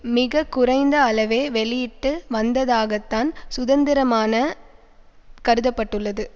மிக குறைந்த அளவே வெளியிட்டு வந்ததாகத்தான் சுதந்திரமான கருதப்பட்டுள்ளது